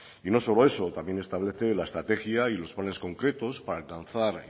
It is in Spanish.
y no solo eso también establece la estrategia y los planes concretos para alcanzar